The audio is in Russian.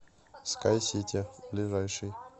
скайсити ближайший